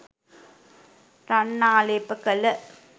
රන් ආලේප කළ